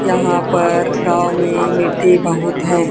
यहां पर गांव में मिट्टी बहुत है।